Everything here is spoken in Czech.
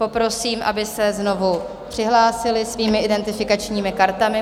Poprosím, abyste se znovu přihlásili svými identifikačními kartami.